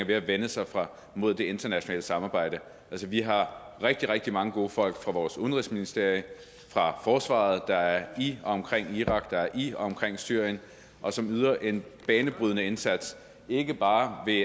ved at vende sig mod det internationale samarbejde altså vi har rigtig rigtig mange gode folk fra vores udenrigsministerium og fra forsvaret der er i og omkring irak der er i og omkring syrien og som yder en banebrydende indsats ikke bare ved